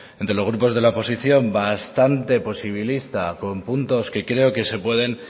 entre los grupos de la oposición bastante posibilista con puntos que creo que se pueden